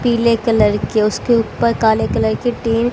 पीले कलर के उसके ऊपर काले कलर के टीन--